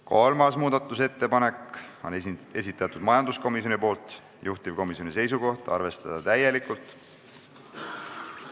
Kolmanda muudatusettepaneku on esitanud majanduskomisjon, juhtivkomisjon seisukoht on arvestada täielikult.